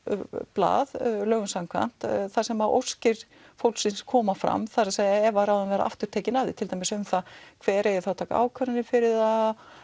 blað lögum samkvæmt þar sem óskir fólksins koma fram það er að ef ráðin verða aftur tekin af þeim til dæmis um það hver eigi að taka ákvarðanir fyrir það